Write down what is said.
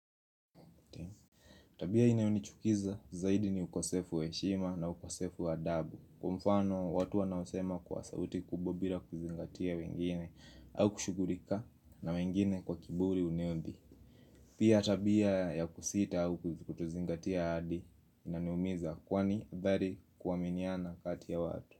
Tabia inayonichukiza zaidi ni ukosefu wa heshima na ukosefu wa adabu kwa mfano watu wanaosema kwa sauti kubwa bila kuzingatia wengine au kushughulika na wengine kwa kiburi uniodhi Pia tabia ya kusita au kutozingatia ahadi inaniumiza kwani bari kuaminiana kati ya watu.